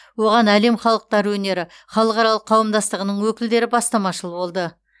оған әлем халықтары өнері халықаралық қауымдастығының өкілдері бастамашыл болды